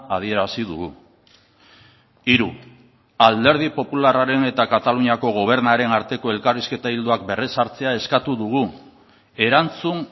adierazi dugu hiru alderdi popularraren eta kataluniako gobernuaren arteko elkarrizketa ildoak berrezartzea eskatu dugu erantzun